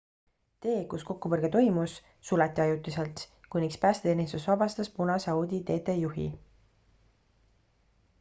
tee kus kokkupõrge toimus suleti ajutiselt kuniks päästeteenistus vabastas punase audi tt juhi